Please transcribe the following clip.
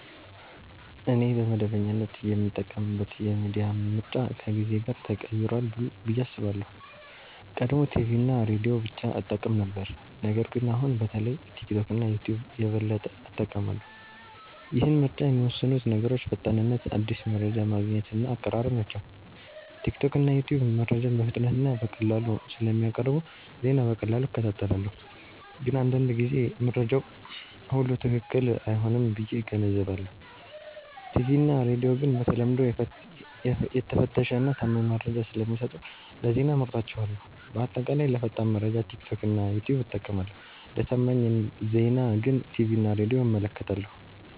እኔ በመደበኛነት የምጠቀምበት የሚዲያ ምርጫ ከጊዜ ጋር ተቀይሯል ብዬ አስባለሁ። ቀድሞ ቲቪ እና ሬዲዮ ብቻ እጠቀም ነበር ነገር ግን አሁን በተለይ ቲክቶክ እና ዩትዩብ የበለጠ እጠቀማለሁ። ይህን ምርጫ የሚወስኑት ነገሮች ፈጣንነት አዲስ መረጃ ማግኘት እና አቀራረብ ናቸው። ቲክቶክ እና ዩትዩብ መረጃን በፍጥነት እና በቀላሉ ስለሚያቀርቡ ዜና በቀላሉ እከታተላለሁ። ግን አንዳንድ ጊዜ መረጃው ሁሉ ትክክል አይሆንም ብዬ እገነዘባለሁ። ቲቪ እና ሬዲዮ ግን በተለምዶ የተፈተሸ እና ታማኝ መረጃ ስለሚሰጡ ለዜና እመርጣቸዋለሁ። በአጠቃላይ ለፈጣን መረጃ ቲክቶክ እና ዩትዩብ እጠቀማለሁ ለታማኝ ዜና ግን ቲቪ እና ሬዲዮን እመለከታለሁ።